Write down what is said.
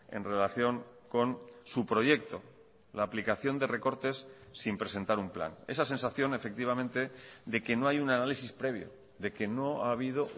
en relación con su proyecto la aplicación de recortes sin presentar un plan esa sensación efectivamente de que no hay un análisis previo de que no ha habido